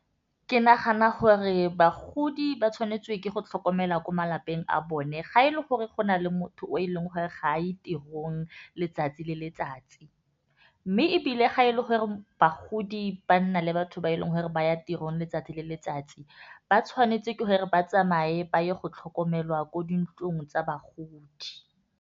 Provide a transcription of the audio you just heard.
Ke nagana gore bagodi ba tshwanetswe ke go tlhokomela ko malapeng a bone ga e le gore go na le motho o e leng gore ga a ko tirong letsatsi le letsatsi, mme ebile ga e le gore bagodi ba nna le batho ba e leng gore ba ya tirong letsatsi le letsatsi, ba tshwanetse ke gore ba tsamaye ba ye go tlhokomelwa ko dintlong tsa bagodi.